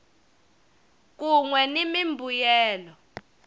kun we ni mimbuyelo